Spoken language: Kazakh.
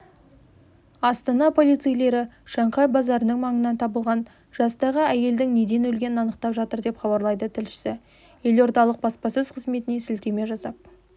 астана полицейлері шанхай базарының маңынан табылған жастағы әйелдің неден өлгенін анықтап жатыр деп хабарлайды тілшісі елордалық баспасөз қызметіне сілтеме жасап